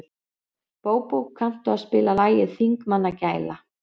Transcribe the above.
Bóbó, kanntu að spila lagið „Þingmannagæla“?